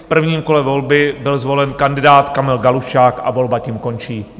V prvním kole volby byl zvolen kandidát Kamil Galuščák a volba tím končí.